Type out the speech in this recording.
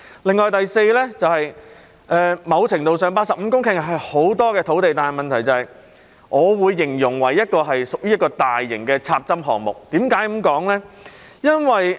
再者，某程度上 ，85 公頃是很多的土地，但我會形容這是一個大型的"插針"項目。